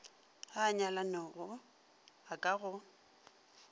a a nyalanego ka go